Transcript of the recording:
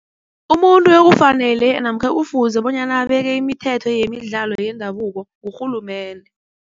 Umuntu ekufanele namkha ekufuze bonyana abeke imithetho yemidlalo yendabuko ngurhulumende.